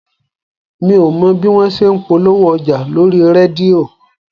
Mi ò mọ bí wọn ṣe ń polówó ọjà lórí rédíò